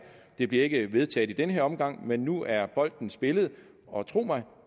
det bliver ikke vedtaget i den her omgang men nu er bolden spillet og tro mig